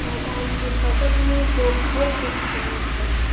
मैदान के बगल में दो घर दिख रहे हैं।